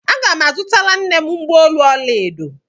Aga m azụtara nne m mgbaolu ọla edo.